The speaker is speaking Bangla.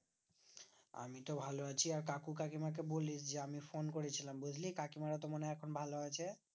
আমি তো ভালো আছি আর কাকু কাকিমা কে বলিস যে আমি phone করেছিলাম বুজলি কাকিমারা তো এখন ভালো আছে